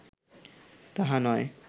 তাহা নয়